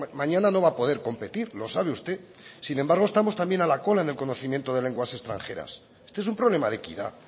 mañana no va a poder competir lo sabe usted sin embargo estamos también a la cola en el conocimiento de lenguas extranjeras este es un problema de equidad